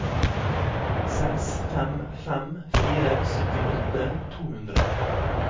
seks fem fem fire syttiåtte to hundre